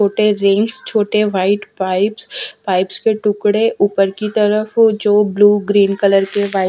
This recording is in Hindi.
छोटे रिंग्स छोटे वाइट पाइप्स पाइप्स के टुकड़े ऊपर की तरफ़ जो ब्लू ग्रीन कलर के वा--